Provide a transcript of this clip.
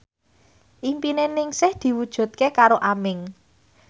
impine Ningsih diwujudke karo Aming